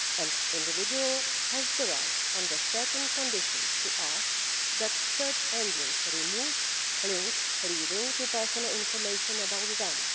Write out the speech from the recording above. An individual has the right, under certain conditions, to ask that search engines remove links leading to personal information about them.